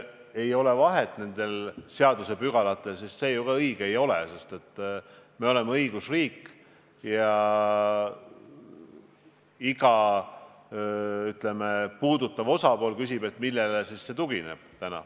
Kui öelda, et nendel seadusepügalatel vahet ei ole, siis see ju ka õige pole, sest me oleme õigusriik ja iga puudutatud osapool küsib, millele see täna siis tugineb.